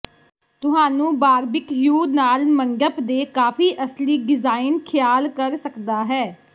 ਤੁਹਾਨੂੰ ਬਾਰਬਿਕਯੂ ਨਾਲ ਮੰਡਪ ਦੇ ਕਾਫ਼ੀ ਅਸਲੀ ਡਿਜ਼ਾਈਨ ਖਿਆਲ ਕਰ ਸਕਦਾ ਹੈ